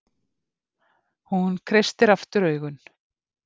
Hún kreistir aftur augun.